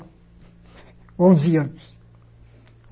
Onze anos.